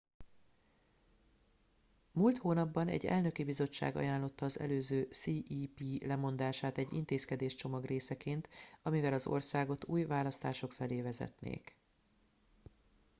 múlt hónapban egy elnöki bizottság ajánlotta az előző cep lemondását egy intézkedéscsomag részeként amivel az országot új választások felé vezetnék